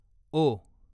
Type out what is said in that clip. ओ